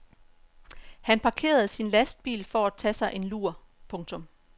Han parkerede sin lastbil for at tage sig en lur. punktum